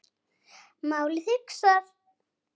Málið hugsað.